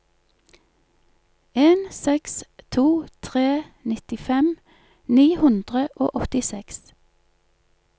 en seks to tre nittifem ni hundre og åttiseks